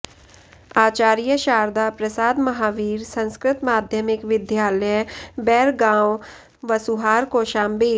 Acharya Sharda Prasad Mahavir Sanskrit Madhyamik Vidyalaya Bairgaon Vasuhar Kaushambi